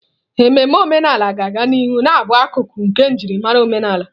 Ememe omenala ga-aga n'ihu na-abụ akụkụ nke njirimara omenala.